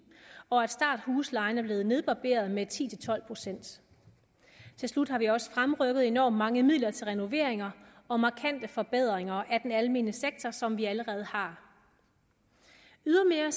og at starthuslejen er blevet nedbarberet med ti til tolv procent til slut har vi også fremrykket enormt mange midler til renoveringer og markante forbedringer af den almene sektor som vi allerede har ydermere